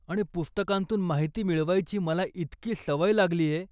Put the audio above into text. आणि पुस्तकांतून माहिती मिळवायची मला इतकी सवय लागलीय.